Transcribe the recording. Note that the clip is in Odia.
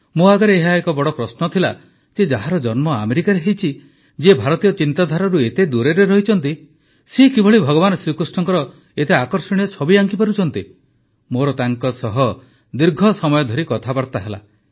ମୋ ଆଗରେ ଏହା ଏକ ବଡ଼ ପ୍ରଶ୍ନ ଥିଲା ଯେ ଯାହାର ଜନ୍ମ ଆମେରିକାରେ ହୋଇଛି ଯିଏ ଭାରତୀୟ ଚିନ୍ତାଧାରାରୁ ଏତେ ଦୂରରେ ରହିଛନ୍ତି ସେ କିଭଳି ଭଗବାନ ଶ୍ରୀକୃଷ୍ଣଙ୍କ ଏତେ ଆକର୍ଷଣୀୟ ଛବି ଆଙ୍କିପାରୁଛନ୍ତି ମୋର ତାଙ୍କ ସହ ଦୀର୍ଘ ସମୟ ଧରି କଥାବାର୍ତ୍ତା ହେଲା